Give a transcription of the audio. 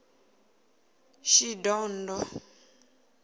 shidondho